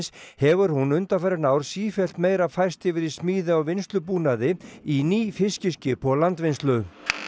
hefur hún undanfarin ár sífellt meira færst yfir í smíði á vinnslubúnaði í ný fiskiskip og landvinnslu